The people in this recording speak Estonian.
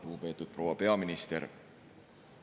Lugupeetud proua peaminister!